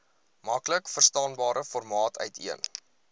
maklikverstaanbare formaat uiteen